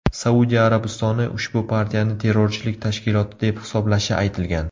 Saudiya Arabistoni ushbu partiyani terrorchilik tashkiloti deb hisoblashi aytilgan.